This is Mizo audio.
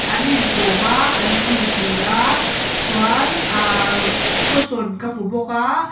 an in kawm a an titi a chuan ah cushion ka hmu bawk a.